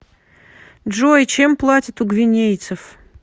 джой чем платят у гвинейцев